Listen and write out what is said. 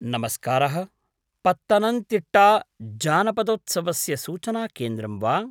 नमस्कारः, पत्तनन्तिट्टा जानपदोत्सवस्य सूचनाकेन्द्रं वा?